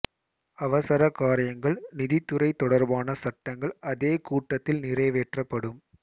அவசர காரியங்கள் நிதித்துறை தொடர்பான சட்டங்கள் அதே கூட்டத்தில் நிறைவேற்றப்படும்